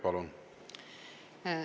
Palun!